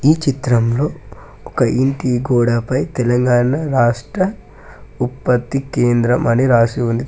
ఈ చిత్రంలో ఒక ఇంటి గోడా పై తెలంగాణ రాష్ట్ర ఉత్పత్తి కేంద్రం అని రాసి ఉంది.